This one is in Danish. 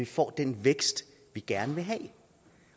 får den vækst vi gerne vil have